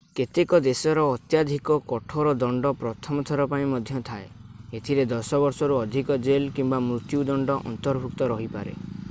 କେତେକ ଦେଶରେ ଅତ୍ୟଧିକ କଠୋର ଦଣ୍ଡ ପ୍ରଥମ ଥର ପାଇଁ ମଧ୍ୟ ଥାଏ ଏଥିରେ 10 ବର୍ଷରୁ ଅଧିକ ଜେଲ କିମ୍ବା ମୃତ୍ୟୁ ଦଣ୍ଡ ଅନ୍ତର୍ଭୁକ୍ତ ରହିପାରେ